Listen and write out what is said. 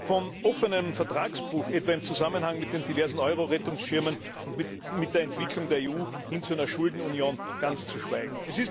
Von offenem Vertragsbruch etwa im Zusammenhang mit den diversen Eurorettungsschirmen und mit der Entwicklung der EU hin zu einer Schuldenunion ganz zu schweigen.